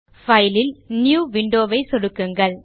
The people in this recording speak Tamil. பைல் ல் நியூ Window வை சொடுக்குங்கள்